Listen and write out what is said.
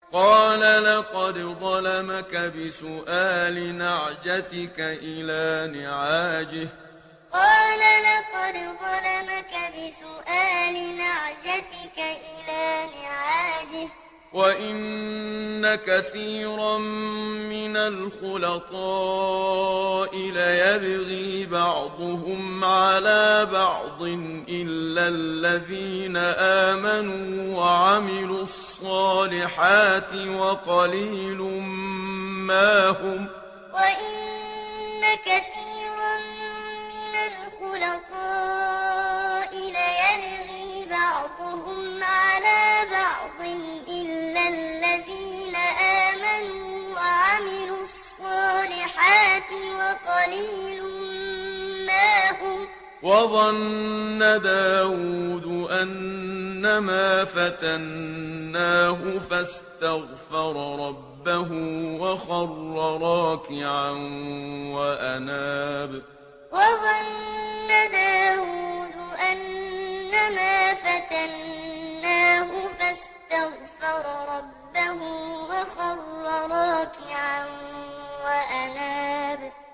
قَالَ لَقَدْ ظَلَمَكَ بِسُؤَالِ نَعْجَتِكَ إِلَىٰ نِعَاجِهِ ۖ وَإِنَّ كَثِيرًا مِّنَ الْخُلَطَاءِ لَيَبْغِي بَعْضُهُمْ عَلَىٰ بَعْضٍ إِلَّا الَّذِينَ آمَنُوا وَعَمِلُوا الصَّالِحَاتِ وَقَلِيلٌ مَّا هُمْ ۗ وَظَنَّ دَاوُودُ أَنَّمَا فَتَنَّاهُ فَاسْتَغْفَرَ رَبَّهُ وَخَرَّ رَاكِعًا وَأَنَابَ ۩ قَالَ لَقَدْ ظَلَمَكَ بِسُؤَالِ نَعْجَتِكَ إِلَىٰ نِعَاجِهِ ۖ وَإِنَّ كَثِيرًا مِّنَ الْخُلَطَاءِ لَيَبْغِي بَعْضُهُمْ عَلَىٰ بَعْضٍ إِلَّا الَّذِينَ آمَنُوا وَعَمِلُوا الصَّالِحَاتِ وَقَلِيلٌ مَّا هُمْ ۗ وَظَنَّ دَاوُودُ أَنَّمَا فَتَنَّاهُ فَاسْتَغْفَرَ رَبَّهُ وَخَرَّ رَاكِعًا وَأَنَابَ ۩